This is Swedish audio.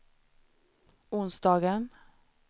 onsdagen